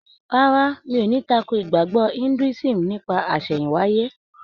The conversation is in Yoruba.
Rárá, mi ò ní tako ìgbàgbọ́ Indúísìm nípa àsẹ̀hìn wáyé.